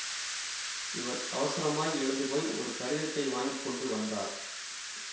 இவள் அவசரமாய் எழுந்து போய் ஒரு கடிதத்தை வாங்கி கொண்டு வந்தாள்